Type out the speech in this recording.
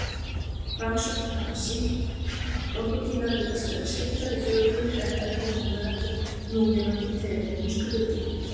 Rannsóknir hafa sýnt að krókódílar virðast vera skyldari fuglum en öðrum núlifandi tegundum skriðdýra.